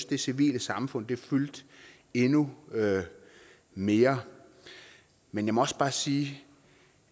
det civile samfund fyldte endnu mere men jeg må også bare sige